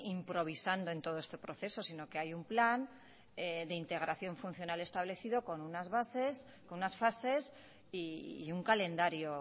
improvisando en todo este proceso sino que hay un plan de integración funcional establecido con unas bases con unas fases y un calendario